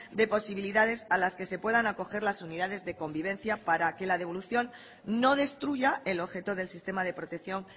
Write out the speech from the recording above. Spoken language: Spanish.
de posibilidades a las que se puedan acoger las unidades de convivencia para que la devolución no destruya el objeto del sistema de protección